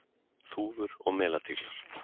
Þúfur og melatíglar.